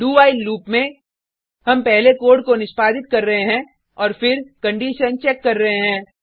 do while loop में हम पहले कोड को निष्पादित कर रहे हैं और फिर कंडिशन चेक कर रहे हैं